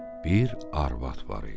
Bir arvad var idi.